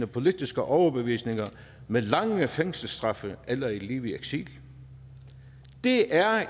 politiske overbevisninger med lange fængselsstraffe eller et liv i eksil det er